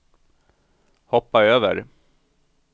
hoppa över